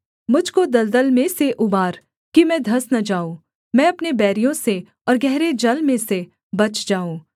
मुझ को दलदल में से उबार कि मैं धँस न जाऊँ मैं अपने बैरियों से और गहरे जल में से बच जाऊँ